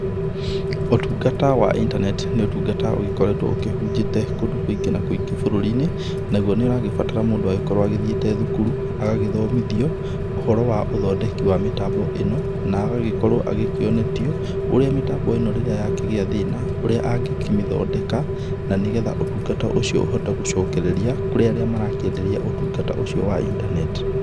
Ũtungata wa internet nĩ ũtungata ũgĩkoretwo ũkĩhunjĩte kũndũ kũingĩ na kũingĩ bũrũri-inĩ, naguo nĩũragĩbatara mũndũ agĩkorwo athiĩte thukuru agagĩthomithio ũhoro wa ũthondeki wa mĩtambo ĩno, na agagĩkorwo akĩonetio ũrĩa mĩtambo ĩno rĩrĩa ya kĩgĩa thĩna ũrĩa angĩkĩmĩthondeka na nĩgetha ũtungata ũcio ũhote gũcokereria kũrĩ arĩa marakĩenderia ũtungata ũcio wa internet.